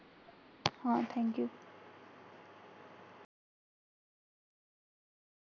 हो thank you